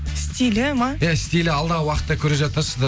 стилі ма ия стилі алдағы уақытта көре жатарсыздар